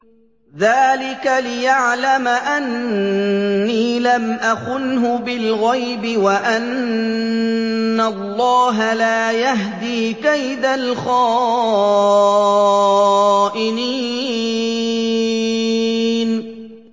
ذَٰلِكَ لِيَعْلَمَ أَنِّي لَمْ أَخُنْهُ بِالْغَيْبِ وَأَنَّ اللَّهَ لَا يَهْدِي كَيْدَ الْخَائِنِينَ